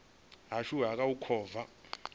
ashu a kha u kovha